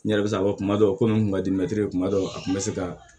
N yɛrɛ bɛ se ka fɔ kuma dɔ ko n kun ka di mɛtiri kuma dɔw a kun bɛ se ka